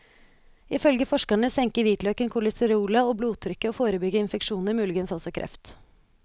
Ifølge forskerne senker hvitløken kolesterolet og blodtrykket, og forebygger infeksjoner, muligens også kreft.